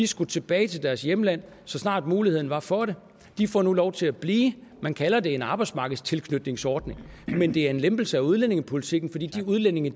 skulle tilbage til deres hjemland så snart muligheden var for det de får nu lov til at blive man kalder det en arbejdsmarkedstilknytningsordning men det er en lempelse af udlændingepolitikken fordi de udlændinge